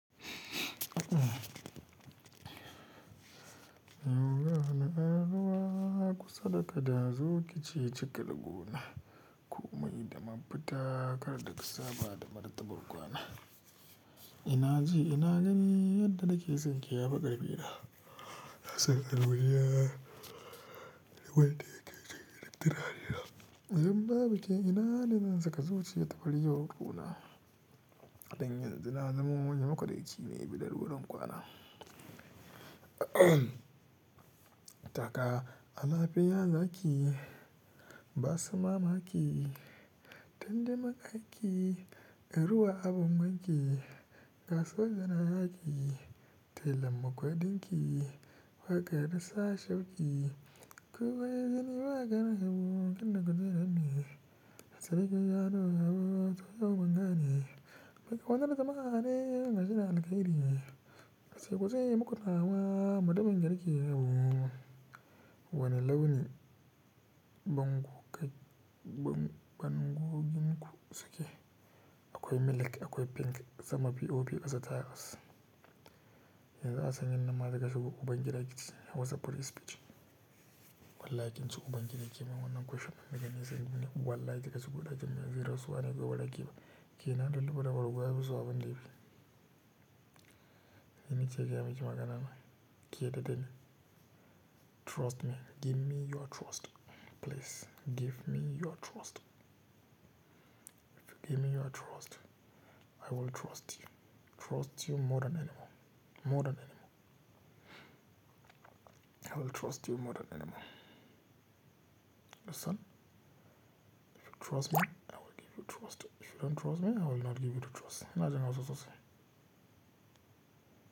Yau gani a ruwa kusa da kada zoki ceci kar gona. Ko mai da mafuta, kar da ka saba da martabar kwana. Ina ji ina gani yadda take sonki yafu ƙarfi na. Harshen al'ulya, waye ke kira littorari nan? Zan babi ke, ina nisan tsaka zuci ta farjo hukuna. Dan yanzu na zamo wani makuraci ne bilar ruwan kwana. Taka, anafi yaza ki, ba su mamaki. Tande ma aiki, ruwa abun wanki. Gaso janayi ki, telan ma kwaɗon ki. Waƙa ya dasa shauki. Ko goge zani ba ka gan abu, kunna kuziran ne. Harshe gajiyanuwa, tsohuwan gane. Waka wanzar zamare, gashina alkhairi ne. Sai kuje muku tsawa, mudubin garke abu. Wane launi banguginku suke? Akwai milk, akwai pink, sama biyu biyu ba sata bas. Yanzu zan sanya nama daga shuku ban kira ki WhatsApp police picture. Wallahi kin tsuka ban kira ki ma wannan kwashe magani zan yi min. Wallahi daga shuku da kyamarar zero su wane bai bada kiba. Ki nan da lubuda warwa yanzu a bindigib. Nima ce jam'i magana na. Ki yarda ne? Trust me. Give me your trust. Please, give me your trust. If you give me your trust, I will trust you. Trust you more than anyone. More than anyone. I will trust you more than anyone. Listen, if you trust me, I will give you trust. If you don't trust me, I will not give you the trust. Na ji nawa sosai.